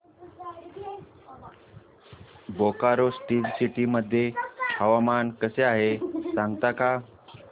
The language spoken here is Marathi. बोकारो स्टील सिटी मध्ये हवामान कसे आहे सांगता का